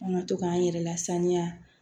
An ka to k'an yɛrɛ lasaniya